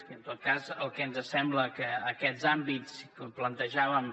i en tot cas el que ens sembla que aquests àmbits que plantejàvem